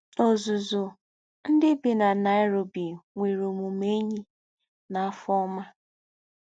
N’ózúzú, ndí́ bí nà Nairobi nwéré òmùmé éṇyí nà àfọ́ ọ́mà